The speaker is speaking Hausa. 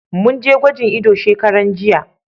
Mun je gwajin ido shekaran jiya.